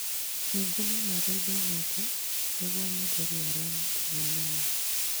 Ningĩ no marĩithie ng'ombe nĩguo menderie arĩa mendagia nyama